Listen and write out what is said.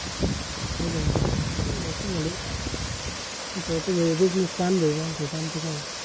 होय की नाय? म्हणून तर म्हणल कसं तो business चालू आहे नायतर आमचं काय ए?